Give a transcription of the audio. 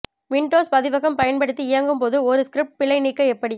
Windows பதிவகம் பயன்படுத்தி இயங்கும் போது ஒரு ஸ்கிரிப்ட் பிழை நீக்க எப்படி